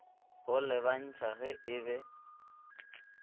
go lebantšha ge e be